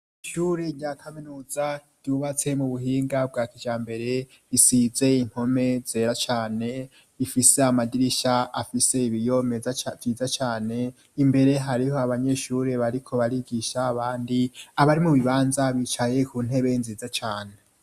Ishuri ryakaminuza ryubatse mu buhinga bwa kija mbere bisizeye inkome zera cane ifise amadirisha afise ibiyo meza nziza cane imbere hariho abanyeshuri bariko barigisha abandi abari mu bibanza bicaye ku ntebe nziza cane.